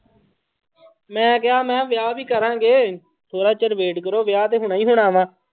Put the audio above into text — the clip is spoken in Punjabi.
ਮੈਂ ਕਿਹਾ ਮੈਂ ਵਿਆਹ ਵੀ ਕਰਾਂਗੇ, ਥੋੜ੍ਹਾ ਚਿਰ wait ਕਰੋ ਵਿਆਹ ਤੇ ਹੋਣਾਂ ਹੀ ਹੋਣਾਂ ਵਾਂ।